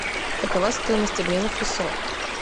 какова стоимость обмена в песо